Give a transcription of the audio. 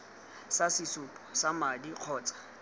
sa sesupo sa madi kgotsa